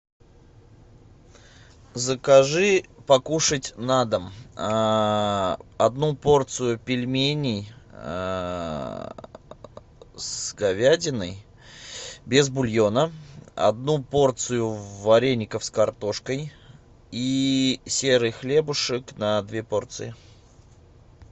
закажи покушать на дом одну порцию пельменей с говядиной без бульона одну порцию вареников с картошкой и серый хлебушек на две порции